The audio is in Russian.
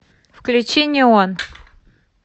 включи неон